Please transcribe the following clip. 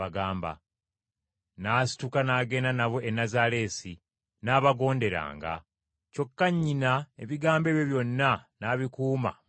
N’asituka n’agenda nabo e Nazaaleesi, n’abagonderanga; kyokka nnyina ebigambo ebyo byonna n’abikuuma mu mutima gwe.